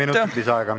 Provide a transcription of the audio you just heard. Kolm minutit lisaaega.